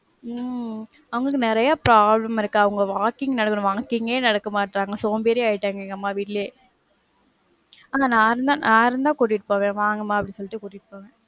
உம் அவங்களுக்கு நெறைய problem இருக்கு, அவங்க walking நடந்திடுவாங்க, walking ஏ நடக்க மாட்றாங்க. சோம்பேறியா ஆயிட்டாங்க எங்க அம்மா வீட்லயே. ஆனா நான் இருந்தா, நான் இருந்தா கூட்டிட்டு போவேன், வாங்கமா அப்படின்னு சொல்லிட்டு கூட்டிட்டு போவேன்.